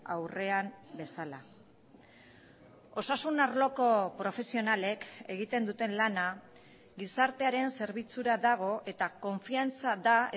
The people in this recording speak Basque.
aurrean bezala osasun arloko profesionalek egiten duten lana gizartearen zerbitzura dago eta konfiantza da